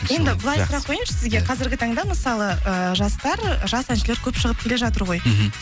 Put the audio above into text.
енді былай сұрақ қояйыншы сізге қазіргі таңда мысалы ыыы жастар жас әншілер көп шығып келе жатыр ғой мхм